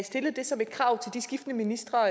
stillede det som et krav til de skiftende ministre